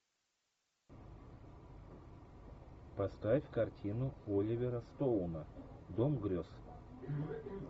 поставь картину оливера стоуна дом грез